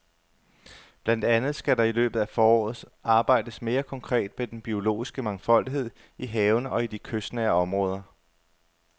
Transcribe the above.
Blandt andet skal der i løbet af foråret arbejdes mere konkret med den biologiske mangfoldighed i havene og i de kystnære områder.